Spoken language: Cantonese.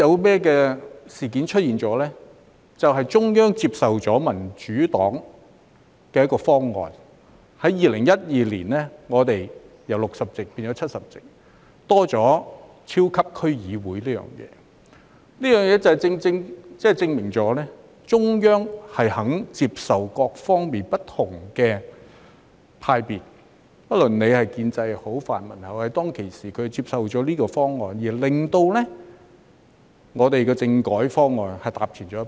便是中央接受民主黨的方案，在2012年，立法會議員由60席變為70席，加入超級區議會，這正正證明中央肯接受不同派別的意見，不論是建制派或泛民派，當時他們接受了這方案，令香港的政改方案踏前一步。